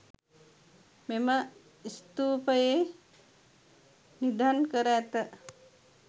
මෙම ස්තූපයේ නිධන් කර ඇත.